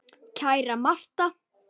Kæra Martha.